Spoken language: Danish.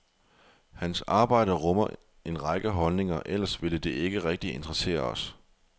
Hans arbejde rummer en række holdninger, ellers ville det ikke rigtig interessere os.